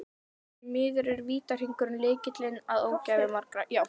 Því miður er vítahringur lykillinn að ógæfu margra.